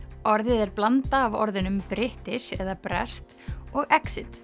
orðið er blanda af orðunum British eða breskt og